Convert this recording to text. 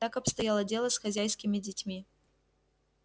так обстояло дело с хозяйскими детьми